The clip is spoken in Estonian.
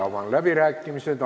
Avan läbirääkimised.